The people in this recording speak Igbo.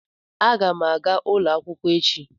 Aga m aga ulo akwukwo echi.